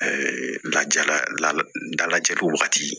lajala lajari wagati